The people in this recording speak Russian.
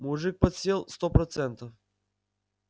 мужик подсел сто процентов